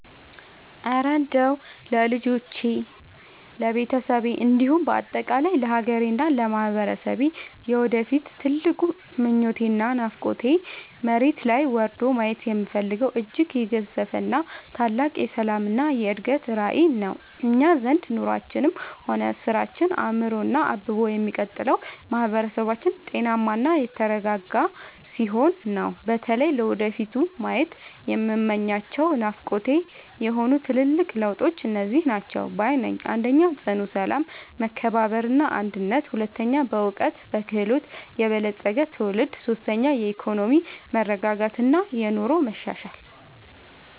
እረ እንደው ለልጆቼ፣ ለቤተሰቤ እንዲሁም በአጠቃላይ ለሀገሬና ለማህበረሰቤ የወደፊት ትልቁ ምኞቴና ናፍቆቴማ፣ መሬት ላይ ወርዶ ማየት የምፈልገው እጅግ የገዘፈ ታላቅ የሰላምና የእድገት ራዕይ ነው! እኛ ዘንድ ኑሯችንም ሆነ ስራችን አምሮና አብቦ የሚቀጥለው ማህበረሰባችን ጤናማና የተረጋጋ ሲሆን ነውና። በተለይ ለወደፊቱ ማየት የምመኛቸውና ናፍቆቴ የሆኑት ትልልቅ ለውጦች እነዚህ ናቸው ባይ ነኝ፦ 1. ጽኑ ሰላም፣ መከባበርና አንድነት 2. በዕውቀትና በክህሎት የበለፀገ ትውልድ 3. የኢኮኖሚ መረጋጋትና የኑሮ መሻሻል